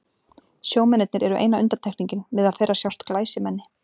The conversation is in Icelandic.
Sjómennirnir eru eina undantekningin, meðal þeirra sjást glæsimenni.